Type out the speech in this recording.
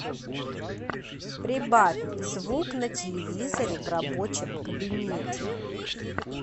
прибавь звук на телевизоре в рабочем кабинете